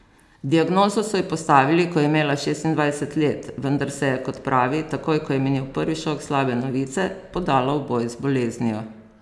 Diagnozo so ji postavili, ko je imela šestindvajset let, vendar se je, kot pravi, takoj ko je minil prvi šok slabe novice, podala v boj z boleznijo.